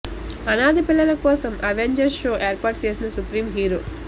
అనాథ పిల్లల కోసం అవెంజర్స్ షో ఏర్పాటు చేసిన సుప్రీం హీరో